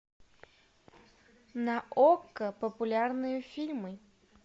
на окко популярные фильмы